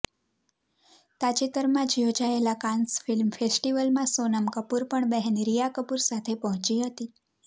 તાજેતરમાં જ યોજાયેલા કાન્સ ફિલ્મ ફેસ્ટિવલમાં સોનમ કપૂર પણ બહેન રિયા કપૂર સાથે પહોંચી હતી